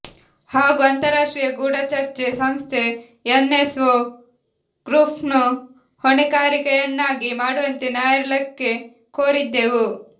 ಹಾಗೂ ಅಂತರ್ರಾಷ್ಟ್ರೀಯ ಗೂಢಚರ್ಯೆ ಸಂಸ್ಥೆ ಎನ್ಎಸ್ಒ ಗ್ರೂಪ್ನ್ನು ಹೊಣೆಗಾರಿಕೆಯನ್ನಾಗಿ ಮಾಡುವಂತೆ ನ್ಯಾಯಾಲಯಕ್ಕೆ ಕೋರಿದ್ದೆವು